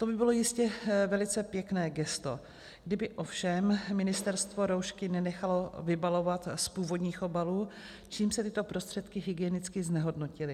To by bylo jistě velice pěkné gesto, kdyby ovšem ministerstvo roušky nenechalo vybalovat z původních obalů, čímž se tyto prostředky hygienicky znehodnotily.